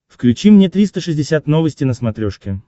включи мне триста шестьдесят новости на смотрешке